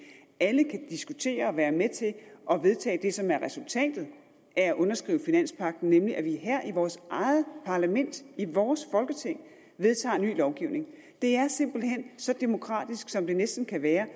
alle kan diskutere og være med til at vedtage det som er resultatet af at underskrive finanspagten nemlig at vi her i vores eget parlament i vores folketing vedtager en ny lovgivning det er simpelt hen så demokratisk som det næsten kan være